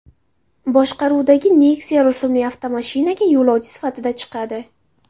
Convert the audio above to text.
boshqaruvidagi Nexia rusumli avtomashinaga yo‘lovchi sifatida chiqadi.